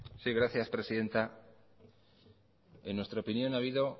sí gracias presidenta en nuestra opinión ha habido